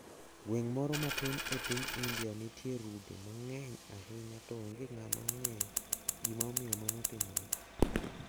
Gweng` moro matin e piny India nitie rude mang`eny ahinya to onge ng`ama ong`eyo gima omiyo mano timore.